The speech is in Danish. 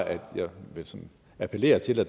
jeg vil appellere til at